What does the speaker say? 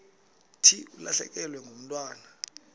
thi ulahlekelwe ngumntwana